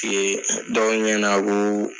dɔw ɲɛna koo